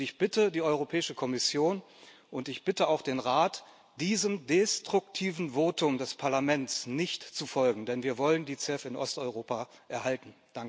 Ich bitte die Europäische Kommission und ich bitte auch den Rat, diesem destruktiven Votum des Parlaments nicht zu folgen, denn wir wollen die CEF in Osteuropa erhalten.